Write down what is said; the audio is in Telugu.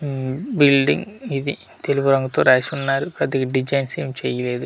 ఉమ్ బిల్డింగ్ ఇది తెలుపు రంగు తో రాసి ఉన్నారు పెద్దగా డిసైన్స్ ఏం చేయలేదు.